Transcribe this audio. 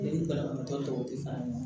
banabagatɔ dɔw tɛ fara ɲɔgɔn kan